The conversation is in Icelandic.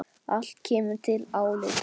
Allt kemur til álita.